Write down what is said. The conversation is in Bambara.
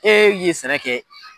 E ye sɛnɛ kɛ